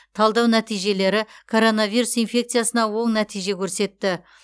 талдау нәтижелері коронавирус инфекциясына оң нәтиже көрсетті